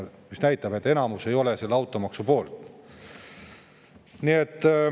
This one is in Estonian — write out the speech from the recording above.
See näitab, et enamus ei ole automaksu poolt.